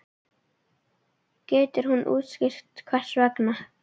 Getur hann útskýrt hvers vegna?